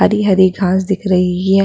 हरी-हरी घास दिख रही है।